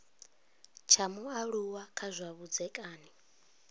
tsha mualuwa kha zwa vhudzekani